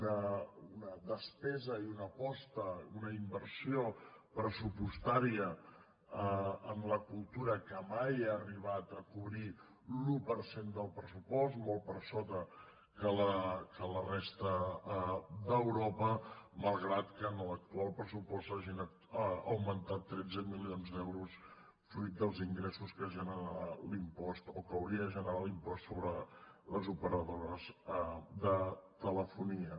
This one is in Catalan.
una despesa i una aposta una inversió pressupostària en la cultura que mai ha arribat a cobrir l’un per cent del pressupost molt per sota que a la resta d’europa malgrat que en l’actual pressupost s’hagin augmentat tretze milions d’euros fruit dels ingressos que generarà o que hauria de generar l’impost sobre les operadores de telefonia